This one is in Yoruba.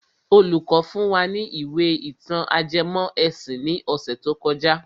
Olùkọ́ fún wa ní ìwé ìtàn ajẹmọ́ ẹ̀sìn ní ọ̀sẹ̀ tó kọjá.